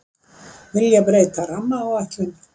Vilja breyta rammaáætlun